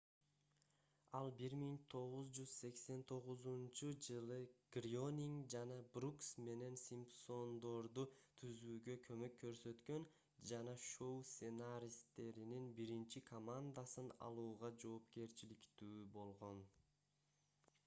ал 1989-жылы грёнинг жана брукс менен симпсондорду түзүүгө көмөк көрсөткөн жана шоу сценаристтеринин биринчи командасын алууга жоопкерчиликтүү болгон